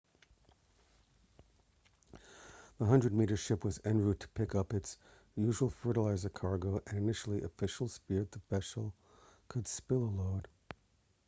the 100-metre ship was en route to pick up its usual fertiliser cargo and initially officials feared the vessel could spill a load